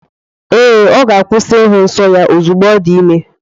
Ee, ọ ga-akwụsị ịhụ nsọ ya ozugbo ọ dị ime.